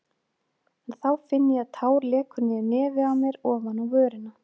En þá finn ég að tár lekur niður nefið á mér ofan á vörina.